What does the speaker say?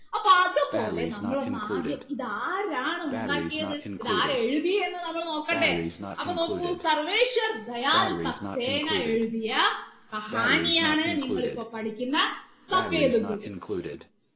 അപ്പൊ അതുപോലെ നമ്മൾ ഒന്ന് ആദ്യം ഇത് ആരാണ് ഉണ്ടാക്കിയത് ഇത് ആര് എഴുതിയന്ന് നമ്മൾ നോക്കണ്ടേ അപ്പൊ നോക്കൂ സർവേശ്വർ ദയാൽ സക്സേന എഴുതിയ കഹാനിയാണ് നിങ്ങൾ ഇപ്പോൾ പഠിക്കുന്ന